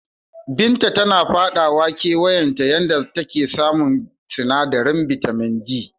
Binta tana faɗawa ƙawayenta yanda take samun sinadarin bitamin D.